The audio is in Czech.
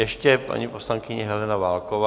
Ještě paní poslankyně Helena Válková.